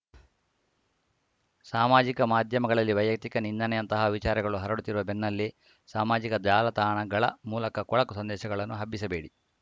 ಸಾಮಾಜಿಕ ಮಾಧ್ಯಮಗಳಲ್ಲಿ ವೈಯಕ್ತಿಕ ನಿಂದನೆಯಂತಹ ವಿಚಾರಗಳು ಹರಡುತ್ತಿರುವ ಬೆನ್ನಲ್ಲೇ ಸಾಮಾಜಿಕ ಜಾಲತಾಣಗಳ ಮೂಲಕ ಕೊಳಕು ಸಂದೇಶಗಳನ್ನು ಹಬ್ಬಿಸಬೇಡಿ